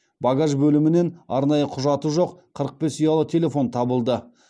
багаж бөлімінен арнайы құжаты жоқ қырық бес ұялы телефон табылды